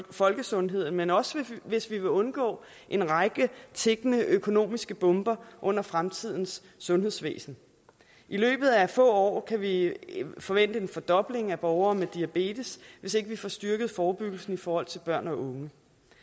folkesundheden men også hvis vi vil undgå en række tikkende økonomiske bomber under fremtidens sundhedsvæsen i løbet af få år kan vi forvente en fordobling af borgere med diabetes hvis ikke vi får styrket forebyggelsen for børn og unge